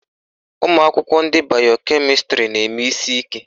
Ụmụakwụkwọ ndị bayo kemịstrị na-eme isi ike.